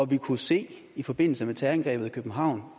vi kunne se i forbindelse med terrorangrebet i københavn